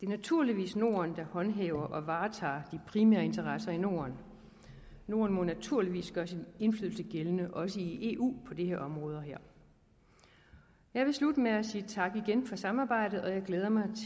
naturligvis norden der håndhæver og varetager de primære interesser i norden norden må naturligvis gøre sin indflydelse gældende også i eu på de her områder jeg vil slutte med igen at sige tak for samarbejdet og at jeg glæder mig